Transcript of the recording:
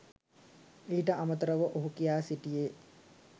ඊට අමතරව ඔහු කියා සිටියේ